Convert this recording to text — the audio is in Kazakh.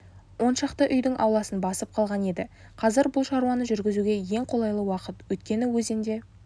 оншақты үйдің ауласын басып қалған еді қазір бұл шаруаны жүргізуге ең қолайлы уақыт өйткені өзенде